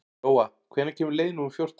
Lóa, hvenær kemur leið númer fjórtán?